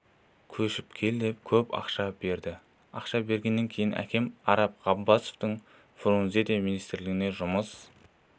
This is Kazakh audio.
көшіп кел деп көп ақша берді ақша бергеннен кейін әкем араб ғаббасовтың фрунзеде министрлікте жұмыс